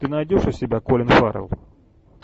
ты найдешь у себя колин фаррелл